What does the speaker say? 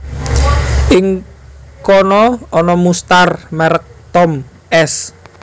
Ing kana ana mustar merek Tom s